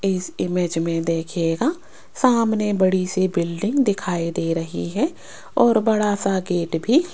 इस इमेज में देखिएगा सामने बड़ी सी बिल्डिंग दिखाई दे रही है और बड़ा सा गेट भी --